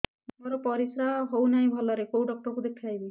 ମୋର ପରିଶ୍ରା ହଉନାହିଁ ଭଲରେ କୋଉ ଡକ୍ଟର କୁ ଦେଖେଇବି